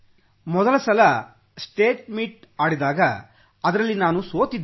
ಮೊದಲ ಸಲ state meet ಆಡಿದಾಗ ಅದರಲ್ಲಿ ನಾನು ಸೋತಿದ್ದೆ